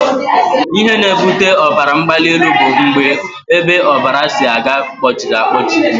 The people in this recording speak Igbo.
Ihe na-ebute ọbaramgbalịelu bụ mgbe ebe ọbara si aga kpọchiri akpọchi